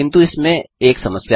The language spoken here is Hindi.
किन्तु इसमें एक समस्या है